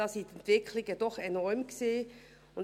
Die Entwicklungen waren enorm.